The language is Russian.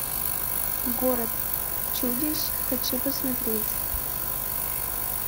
город чудищ хочу посмотреть